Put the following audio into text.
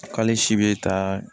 K'ale si bɛ taa